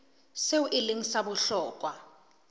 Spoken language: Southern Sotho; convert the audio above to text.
seo e leng sa bohlokwa